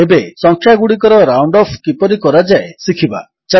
ଏବେ ସଂଖ୍ୟାଗୁଡ଼ିକର round off କିପରି କରାଯାଏ ଶିଖିବା